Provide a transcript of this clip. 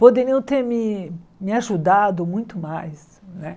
Poderiam ter me me ajudado muito mais, não é?